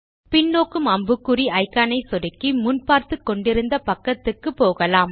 பின்நோக்கும் அம்புக்குறி இக்கான் ஐ சொடுக்கி முன் பார்த்துக் கொண்டிருந்த பக்கத்துக்கு போகலாம்